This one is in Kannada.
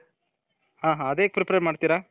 ಹಾ ಹಾ ಅದು ಹೇಗ್ prepare ಮಾಡ್ತಿರ